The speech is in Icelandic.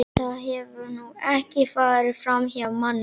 Það hefur nú ekki farið framhjá manni.